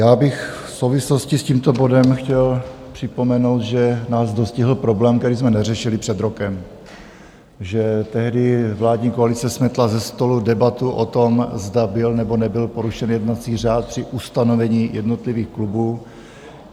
Já bych v souvislosti s tímto bodem chtěl připomenout, že nás dostihl problém, který jsme neřešili před rokem, že tehdy vládní koalice smetla ze stolu debatu o tom, zda byl, nebo nebyl porušen jednací řád při ustanovení jednotlivých klubů.